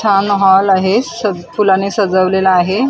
छान हॉल आहे स फुलांनी सजवलेला आहे.